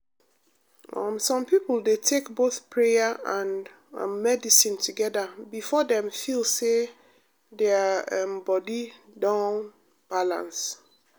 um some people dey take both prayer and um medicine together before dem feel say their um body don balance.